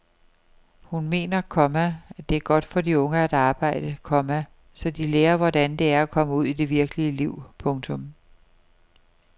Hun mener, komma det er godt for de unge at arbejde, komma så de lærer hvordan det er at komme ud i det virkelige liv. punktum